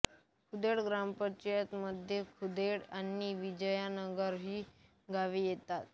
खुदेड ग्रामपंचायतीमध्ये खुदेड आणि विजयनगर ही गावे येतात